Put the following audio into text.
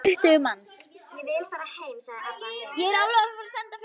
Hún er búin að bjóða tuttugu manns.